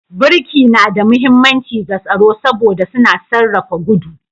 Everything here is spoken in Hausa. Birki na da mahimmanci ga tsaro saboda suna sarrafa gudu